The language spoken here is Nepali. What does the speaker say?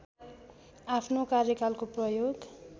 आफ्नो कार्यकालको प्रयोग